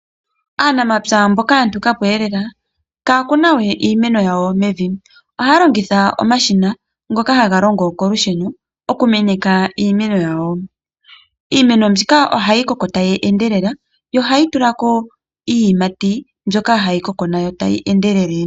Aanamapya mboka ya nukapo eelela kaya kuna we iimeno yawo mevi. Ohaya longitha omashina ngoka haga longo kolusheno okumeneka iimeno yawo. Iimeno mbika ohayi koko tayi endelele, yo ohayi tula ko iiyimati mbyoka hayi koko nayo tayi endelele.